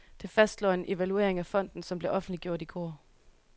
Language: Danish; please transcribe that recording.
Det fastslår en evaluering af fonden, som blev offentliggjort i går.